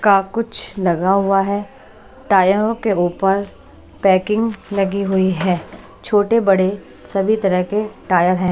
का कुछ लगा हुआ है टायरों के ऊपर पैकिंग लगी हुई है छोटे बड़े सभी तरह के टायर हैं।